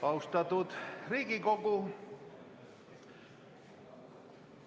Austatud Riigikogu!